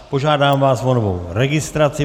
Požádám vás o novou registraci.